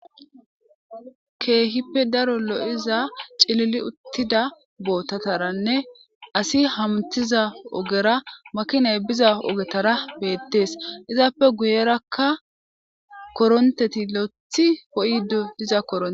Keehippe daro lo7iza cilili uttida bootataranne asi hamtiza ogera makinay biza ogetara beettees izaappe guyerakka koronteti lo7ethi poo7idu diza korone.